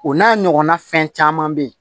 O n'a ɲɔgɔnna fɛn caman bɛ yen